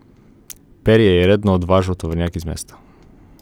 Perje je redno odvažal tovornjak iz mesta.